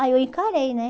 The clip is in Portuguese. Aí eu encarei, né?